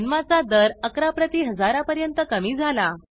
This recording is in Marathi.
जन्माचा दर 11 प्रति हजारा पर्यंत कमी झाला